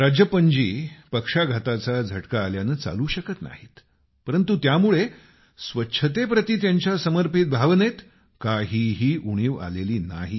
राजप्पन जी पक्षाघाताचा झटका आल्यानं चालू शकत नाहीत परंतु त्यामुळे स्वच्छतेप्रति त्यांच्या समर्पित भावनेत काहीही उणिव आलेली नाही